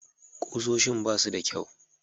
Ƙusoshin ba su da kyau.